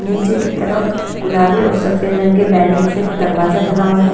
नीचे की तरफ गुलाबी और सफेद रंग के बैलून से एक दरवाजा बना हुआ है।